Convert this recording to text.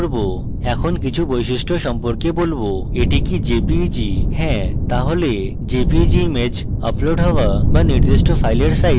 এখন কিছু বৈশিষ্ট্য সম্পর্কে বলবোএটি কি jpeg হ্যাঁ তাহলে jpeg image আপলোড হওয়া বা নির্দিষ্ট file সাইজ অস্বীকার করুন